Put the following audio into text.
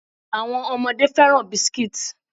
Àwọn ọmọdé fẹ́ràn biscuits.